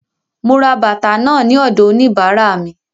Mo ra bàtà náà ní ọ̀dọ̀ òníbàárà mi.